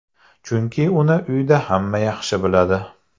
Chunki uni uyda hamma yaxshi biladi.